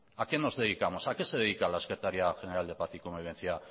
a qué nos dedicamos a qué se dedica la secretaría general de paz y convivencia